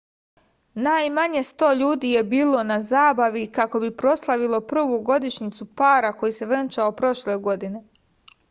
najmanje sto ljudi je bilo na zabavi kako bi proslavilo prvu godišnjicu para koji se venčao prošle godine